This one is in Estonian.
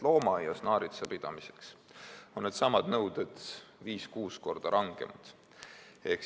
Loomaaias naaritsa pidamiseks on needsamad nõuded viis-kuus korda rangemad.